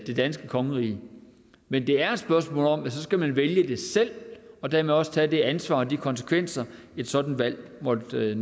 det danske kongerige men det er et spørgsmål om at man så skal vælge det selv og dermed også tage det ansvar og de konsekvenser et sådant valg måtte